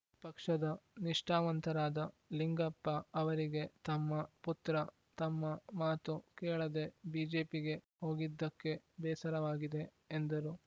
ಪಕ್ಷದ ನಿಷ್ಠಾವಂತರಾದ ಲಿಂಗಪ್ಪ ಅವರಿಗೆ ತಮ್ಮ ಪುತ್ರ ತಮ್ಮ ಮಾತು ಕೇಳದೆ ಬಿಜೆಪಿಗೆ ಹೋಗಿದ್ದಕ್ಕೆ ಬೇಸರವಾಗಿದೆ ಎಂದರು